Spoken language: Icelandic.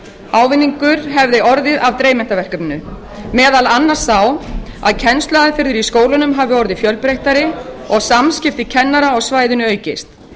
ávinningur hefði orðið á dreifmyndaverkefninu meðal annars sá að kennsluaðferðir í skólunum hafi orðið fjölbreyttari og samskipti kennara á svæðinu aukist